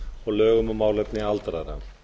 og lögum um málefni aldraðra